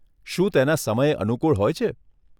શું તેના સમય અનુકુળ હોય છે?